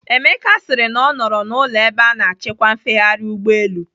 Emeka sịrị na ọ nọrọ n'ụlọ ebe a na-achịkwa mfegharị ụgbọelu.